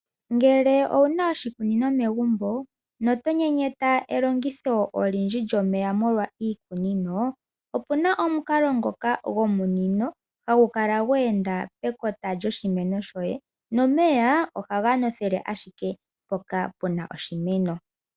Ngele owuna oshikunino megumbo noto nyenyeta elongitho olindji lyomeya molwa iikunino, opuna omukalo ngoka gomunino hagukala gweenda pekota lyoshimeno shoye, nomeya ohaga nothele ashike mpoka puna oshimeno.